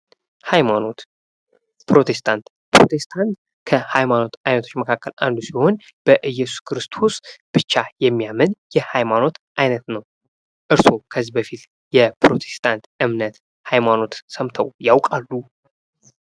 ሀይማኖት ፦ ፕሮቴስታንት ፦ ፕሮቴስታንት ከሃይማኖት አይነቶች መካከል አንዱ ሲሆን በኢየሱስ ክርስቶስ ብቻ የሚያምን የሀይማኖት አይነት ነው ። እርስዎ ከዚህ በፊት የፕሮቴስታንት እምነት ሀይማኖት ሰምተው ያውቃሉ ?